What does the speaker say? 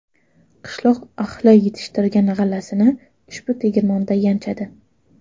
Qishloq ahli yetishtirgan g‘allasini ushbu tegirmonda yanchadi.